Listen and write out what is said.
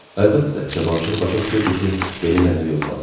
Əlbəttə, Cavanşir başa düşürdü ki, belə eləmək olmaz.